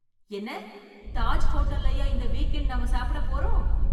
என்ன தாஜ் ஹோட்டல்லயா இந்த வீக் எண்டு நாம சாப்பிட போறோம்!